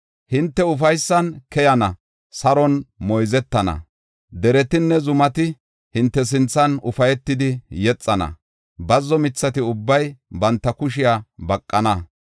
“Hinte ufaysan keyana; saron moyzetana; deretinne zumati hinte sinthan ufaytidi yexana; bazzo mithati ubbay banta kushiya baqana.